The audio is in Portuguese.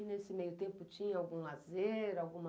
E nesse meio tempo tinha algum lazer, alguma...